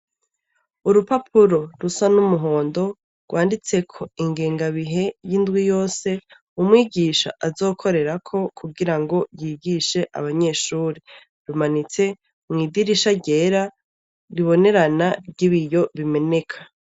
Urupapuro rusa n'umuhondo rwanditseko ingengabihe y'indwi yose umwigisha azokorerako kugira ngo yigishe abanyeshure. Rumanitse mw'idirisha ryera ribonerana ry'ibiyo bimeneka.